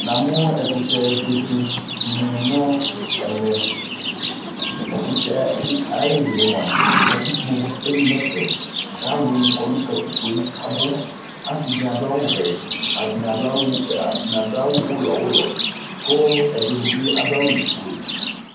namʋ ɛkʋtɛ bɛbɛ dini nʋ ɛmɛ, ɛkʋtɛ ayili mʋa katikpɔ ɛli nʋ ɛƒɛ kʋ alʋni kɔnʋ katikpɔɛ kʋ abʋ, asii di adʋ awʋ vɛ ,atani adʋ awʋ ʋlɔ ʋlɔ kʋɛdini bi adʋ awʋ ƒʋɛ